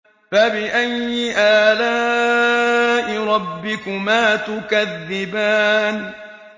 فَبِأَيِّ آلَاءِ رَبِّكُمَا تُكَذِّبَانِ